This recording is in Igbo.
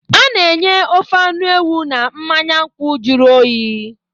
A na-enye ofe anụ ewu na mmanya nkwụ jụrụ oyi